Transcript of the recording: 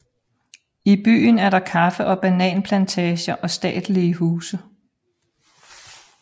I byen er der kaffe og bananplantager og statelige huse